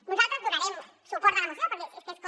nosaltres donarem suport a la moció perquè és que és com